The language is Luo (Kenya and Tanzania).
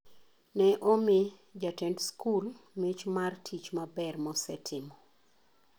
Ne omi jatend sikul mich mar tich maber mosetimo